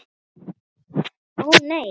Ó nei.